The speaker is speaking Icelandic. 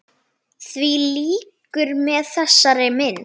Því lýkur með þessari mynd.